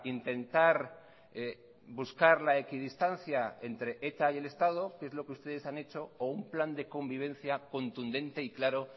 intentar buscar la equidistancia entre eta y el estado que es lo que ustedes han hecho o un plan de convivencia contundente y claro